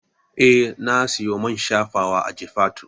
Eh na siyo main shafawa a Jifatu